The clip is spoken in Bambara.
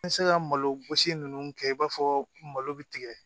N bɛ se ka malo gosi ninnu kɛ i b'a fɔ malo bɛ tigɛ